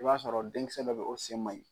I b'a sɔrɔ denmisɛn dɔ bɛ yen, o sen ma ɲin.